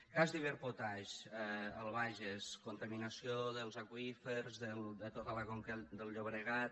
cas d’iberpotash al bages contaminació dels aqüífers de tota la conca del llobregat